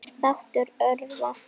Brands þáttur örva